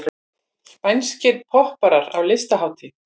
Spænskir popparar á listahátíð